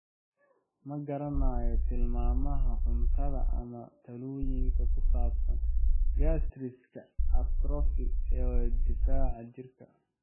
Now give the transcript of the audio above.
Ma garanayno tilmaamaha cuntada ama talooyinka ku saabsan gastritis-ka atrophic ee difaaca jirka.